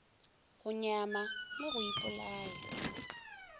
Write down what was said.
go nyama le go ipolaya